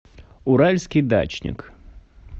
уральский дачник